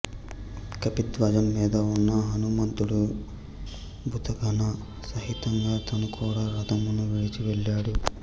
కపిధ్వజం మీద ఉన్న హనుమంతుడు భూతగణ సహితంగా తను కూడా రథమును విడిచి వెళ్ళాడు